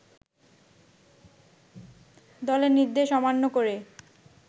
দলের নির্দেশ অমান্য করে